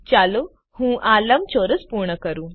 ચાલો હું આ લંબચોરસ પૂર્ણ કરું